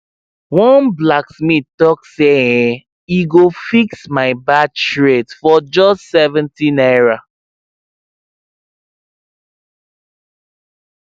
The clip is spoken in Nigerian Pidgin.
one blacksmith talk say um e go fix my bad shears for just 70 naira